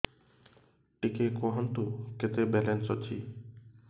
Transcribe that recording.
ଟିକେ କୁହନ୍ତୁ କେତେ ବାଲାନ୍ସ ଅଛି